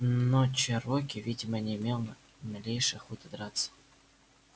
но чероки видимо не имел ни малейшей охоты драться